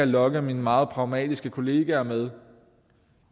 lokke mine meget pragmatiske kolleger med